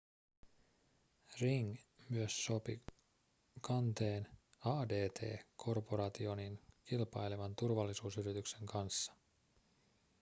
ring myös sopi kanteen adt corporationin kilpailevan turvallisuusyrityksen kanssa